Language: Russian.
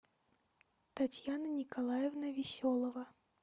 татьяна николаевна веселова